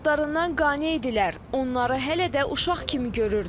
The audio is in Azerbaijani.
Övladlarından qane idilər, onları hələ də uşaq kimi görürdülər.